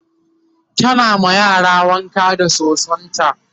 tana ma yaran wanka da sosonta